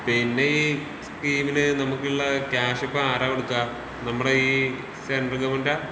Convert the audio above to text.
പിന്നെ ഈ സ്കീമിന് നമ്മക്കുള്ള ക്യാഷ് ഇപ്പൊ ആരാ കൊടുക്കാ? നമ്മടെ ഈ സെൻട്രൽ ഗവണ്മെന്റാ?